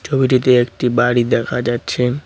ছবিটিতে একটি বাড়ি দেখা যাচ্ছে।